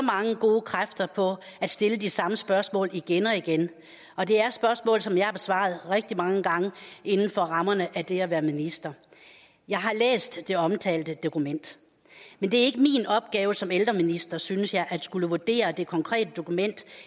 mange gode kræfter på at stille de samme spørgsmål igen og igen og det er spørgsmål som jeg har besvaret rigtig mange gange inden for rammerne af det at være minister jeg har læst det omtalte dokument men det er ikke min opgave som ældreminister synes jeg at skulle vurdere det konkrete dokument